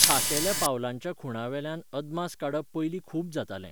खाशेल्या पावलांच्या खुणांवेल्यान अदमास काडप पयलीं खूब जातालें.